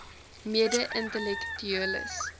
mede intellek tueles